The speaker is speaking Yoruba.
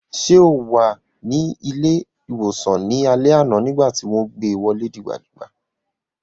Ṣé o wà ní ilé-ìwòsàn ní alẹ́ àná nígbà tí wọ́n gbé wọlé dìgbà dìgbà?